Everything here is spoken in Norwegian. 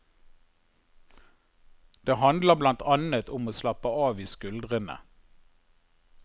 Det handler blant annet om å slappe av i skuldrene.